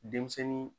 Denmisɛnnin